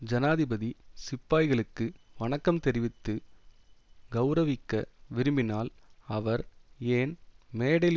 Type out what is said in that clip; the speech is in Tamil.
ஜனாதிபதி சிப்பாய்களுக்கு வணக்கம் தெரிவித்து கெளரவிக்க விரும்பினால் அவர் ஏன் மேடையில்